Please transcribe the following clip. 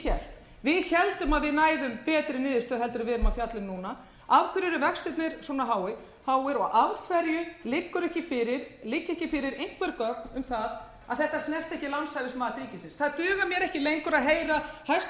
héldum að við næðum betri niðurstöðu heldur en við erum að fjalla um núna af hverju eru vextirnir svona háir og af hverju liggja ekki fyrir einhver gögn um það að þetta snerti ekki lánshæfismat ríkisins það dugar mér ekki lengur að heyra hæstvirtur